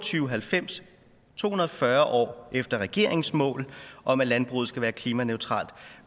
halvfems to hundrede og fyrre år efter regeringens mål om at landbruget skal være klimaneutralt